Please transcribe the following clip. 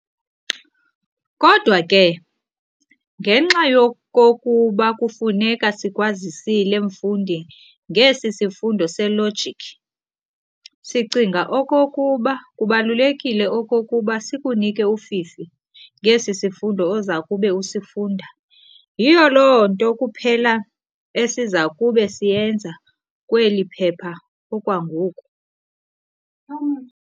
kodwa ke, ngenxa yokokuba kufuneka sikwazisile mfundi ngesi sifundo se-logic, sicinga okokuba kubalulekile okokuba sikunike ufifi ngesi sifundo ozakube usifunda. yiloo nto kuphela esizakube siyenza kweli phepha okwangoku.